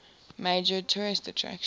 major tourist attraction